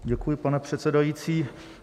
Děkuji, pane předsedající.